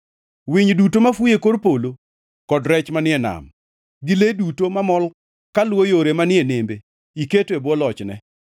Winy duto mafuyo e kor polo, kod rech manie nam, gi le duto mamol kaluwo yore manie nembe iketo e bwo lochne.